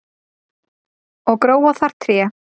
og gróa þar tré